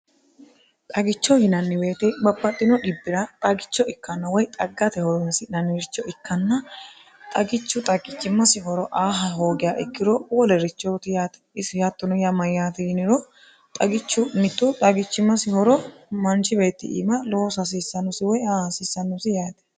xagicho yinanniwoyite bapaxxino dhibbi'ra xagicho ikkanno woy xaggate horonsinanniricho ikkanna xagichu xagichimmasi horo aaha hoogea ikkiro wolerichooti yaati isi hattuno ya mayyaati yiniro xagichu mittu xagichimmasi horo mancibeetti iima loos hasiissannosi woy aasiissannosi yaate